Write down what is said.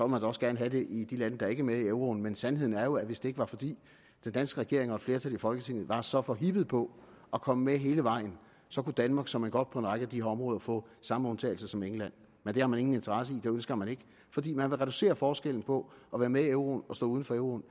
man da også gerne have det i de lande der ikke er med i euroen men sandheden er jo at hvis det ikke var fordi den danske regering og et flertal i folketinget var så forhippet på at komme med hele vejen så kunne danmark såmænd godt på en række af de her områder få samme undtagelser som england men det har man ingen interesse i det ønsker man ikke fordi man vil reducere forskellen på at være med i euroen og stå uden for euroen